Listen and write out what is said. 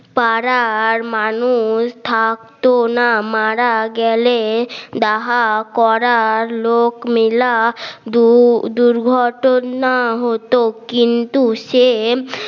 পাড়ার মানুষ থাকতো না মারা গেলে ডাহা করার লোক মেলা দুর্ঘটনা হতো কিন্তু সে